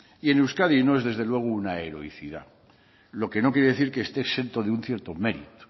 y en euskadi no es desde luego una heroicidad lo que no quiere decir que esté exento de un cierto mérito